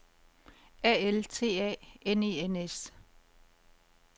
A L T A N E N S